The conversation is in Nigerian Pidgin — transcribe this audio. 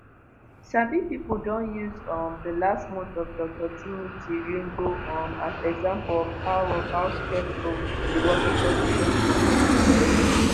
sabi pipo don use um di last month of dr timothy riungu um as example of how of how stressful di working conditions for medics be.